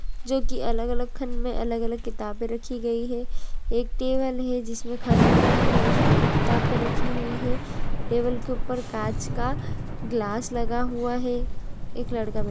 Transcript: जो कि अलग अलग खाने में अलग अलग किताबें रक्खी गई हैं एक टेबल है जिसमें खाने बने हुए हैं उसमें भी किताबें रक्खी हुई हैं टेबल के ऊपर कांच का ग्लास लगा हुआ है एक लड़का बैठ--